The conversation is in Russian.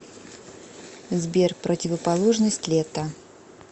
сбер противоположность лето